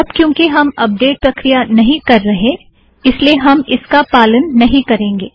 अब क्यूंकि हम अपडेट प्रक्रिया नहीं कर रहे इसलिए हम इसका पालन नहीं करेंगे